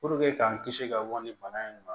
k'an kisi ka bɔ ni bana in ma